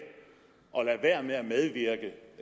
og lader være med